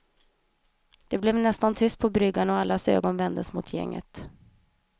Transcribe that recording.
Det blev nästan tyst på bryggan och allas ögon vändes mot gänget.